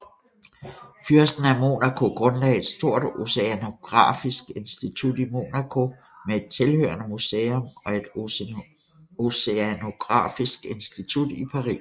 Fyrsten af Monaco grundlagde et stort oceanografisk institut i Monaco med et tilhørende museum og et oceanografisk institut i Paris